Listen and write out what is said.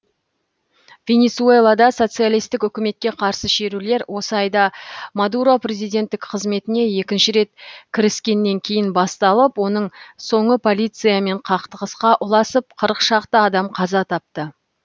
венесуэлада социалистік үкіметке қарсы шерулер осы айда мадуро президенттік қызметіне екінші рет кіріскеннен кейін басталып оның соңы полициямен қақтығысқа ұласып қырық шақты адам қаза тапты